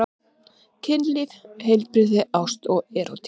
Kynlíf, heilbrigði, ást og erótík.